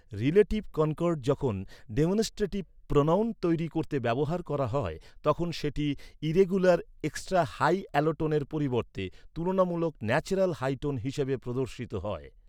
Relative concord যখন demonstrative pronoun তৈরি করতে ব্যবহার করা হয় তখন সেটি ইররেগুলার এক্সট্রা হাই অ্যালোটোনের পরিবর্তে তুলনামূলক ন্যাচেরাল হাই টোন হিসেবে প্রদর্শিত হয়।